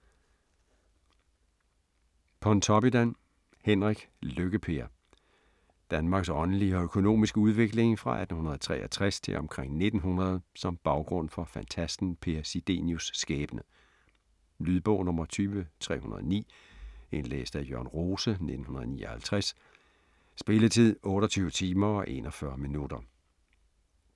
Pontoppidan, Henrik: Lykke-Per Danmarks åndelige og økonomiske udvikling fra 1863 til omkring 1900 som baggrund for fantasten Per Sidenius' skæbne. Lydbog 20309 Indlæst af Jørn Rose, 1959. Spilletid: 28 timer, 41 minutter.